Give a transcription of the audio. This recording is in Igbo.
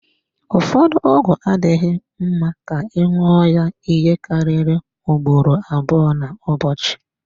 Ụfọdụ ọgwụ adịghị mma ka ị ṅụọ ya ihe karịrị ugboro abụọ n'ụbọchị.